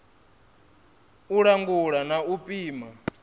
u langula na u pima